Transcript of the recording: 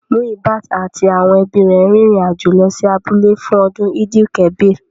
Muyibat àti àwọn ẹbí rẹ̀ rin ìrìn àjò lọ sí abúlé fún ọdún Eid-el-kabir